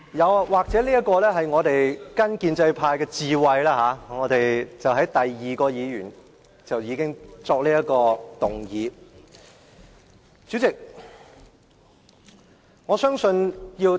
我們或許應該學習建制派的智慧，在第二位議員發言後便要動議中止待續議案。